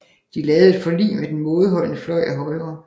De lavede et forlig med den mådeholdende fløj af Højre